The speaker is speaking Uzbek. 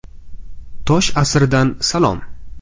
Tosh asridan salom.